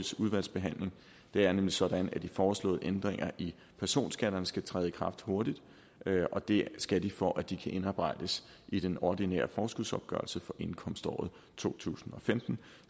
udvalgsbehandling det er nemlig sådan at de foreslåede ændringer i personskatterne skal træde i kraft hurtigt og det skal de for at de kan indarbejdes i den ordinære forskudsopgørelse for indkomståret to tusind og femten